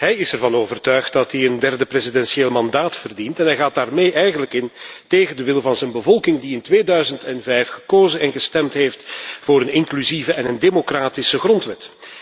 Hij is ervan overtuigd dat hij een derde presidentieel mandaat verdient en hij gaat daarmee eigenlijk in tegen de wil van zijn bevolking, die in 2005 gekozen en gestemd heeft voor een inclusieve en democratische grondwet.